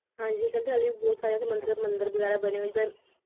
ਹਾਂਜੀ ਕਹਿੰਦੇ ਹਲੇ ਵੀ ਬਹੁਤ ਸਾਰੇ ਬਹੁਤ ਸਾਰੇ ਮੰਦਿਰ ਮੰਦਿਰ ਵਗੈਰਾ ਬਣੇ ਹੋਏ ਜਿਦਾਂ